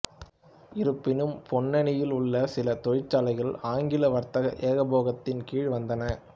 இருப்பினும் பொன்னானியில் உள்ள சில தொழிற்ச்சாலைகள் ஆங்கில வர்த்தக ஏகபோகத்தின் கீழ் வந்தன